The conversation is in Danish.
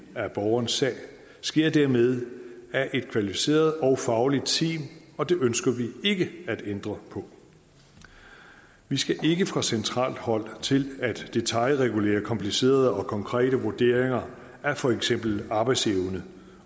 af borgernes sag sker dermed af et kvalificeret og fagligt team og det ønsker vi ikke at ændre på vi skal ikke fra centralt hold til at detailregulere komplicerede og konkrete vurderinger af for eksempel arbejdsevne